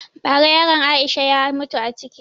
Ba ra yaran Aisha ya mutu a ciki